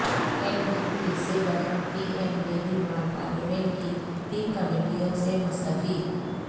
N D A سے برہم P M Beniwal parliament کی تین کمیٹیوں سے مستعفی